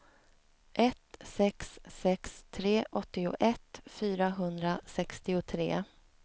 ett sex sex tre åttioett fyrahundrasextiotre